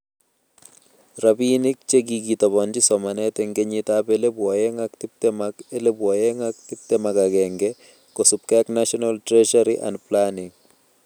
Rabiinik che kikitobonji somanet eng kenyitab elebu oeng ak tiptem ak elebu oeng ak tiptem ak agenge kosubkei ak National Treasury and planning